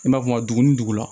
I b'a fɔ ka dugu ni dugu la